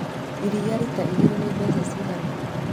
Iria rita igĩrĩ nĩ mbeca ciigana?